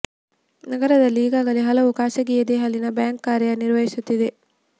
ನಗರದಲ್ಲಿ ಈಗಾಗಲೇ ಹಲವು ಖಾಸಗಿ ಎದೆ ಹಾಲಿನ ಬ್ಯಾಂಕ್ ಕಾರ್ಯ ನಿರ್ವಹಿಸುತ್ತಿವೆ